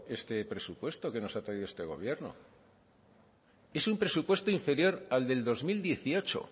este presupuesto que nos ha traído este gobierno es un presupuesto inferior al del dos mil dieciocho